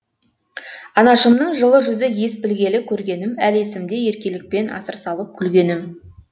анашымның жылы жүзі ес білгелі көргенім әлі есімде еркелікпен асыр салып күлгенім